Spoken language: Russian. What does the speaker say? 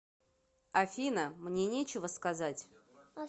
афина мне нечего сказать